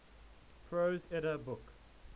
prose edda book